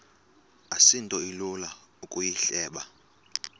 asinto ilula ukuyihleba